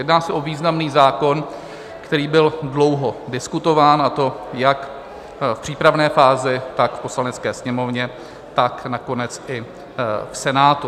Jedná se o významný zákon, který byl dlouho diskutován, a to jak v přípravné fázi, tak v Poslanecké sněmovně, tak nakonec i v Senátu.